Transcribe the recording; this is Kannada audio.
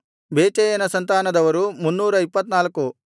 ಬೇಚೈಯನ ಸಂತಾನದವರು 324